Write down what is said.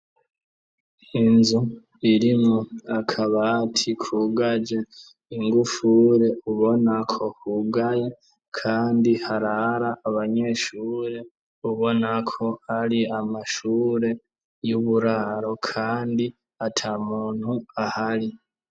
Inzu irimwo akabati kugaje ingufuri ubona ko hugaye kandi harara abanyeshure, ubona ko ari amashure y'uburaro kandi ata muntu ahari.